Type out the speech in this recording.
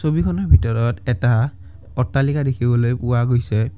ছবিখনৰ ভিতৰত এটা অট্টালিকা দেখিবলৈ পোৱা গৈছে।